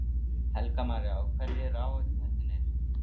Helga María: Og hverjir eru áhættuþættirnir?